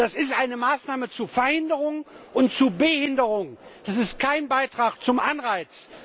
Das ist eine Maßnahme zur Verhinderung und zur Behinderung, das ist kein Beitrag zum Anreiz!